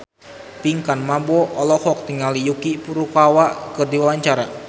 Pinkan Mambo olohok ningali Yuki Furukawa keur diwawancara